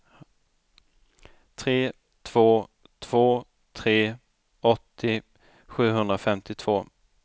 tre två två tre åttio sjuhundrafemtiotvå